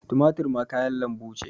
Tumatur ma kayan lanbu ce.